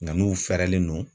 Nga n'u fɛrɛlen no